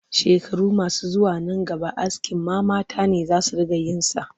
Shekaru masu zuwa nan gaba askin ma mata ne za su riƙa yin sa